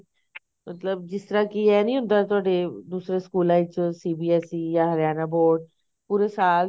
ਮਤਲਬ ਜਿਸ ਤਰ੍ਹਾਂ ਕੀ ਇਹ ਨਹੀਂ ਹੁੰਦਾ ਤੁਹਾਡੇ ਦੂਸਰੇ ਸਕੂਲਾ ਵਿਚ CBSE ਜਾ ਹਰਿਆਣਾ Board ਪੂਰੇ ਸਾਲ